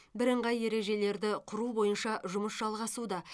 бірыңғай ережелерді құру бойынша жұмыс жалғасуда